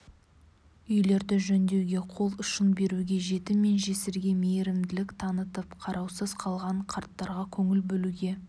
үйлерді жөндеуге қол ұшын беруге жетім мен жесірге мейірімділік танытып қараусыз қалған қарттарға көңіл бөлуге